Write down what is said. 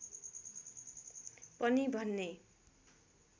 पनि भन्ने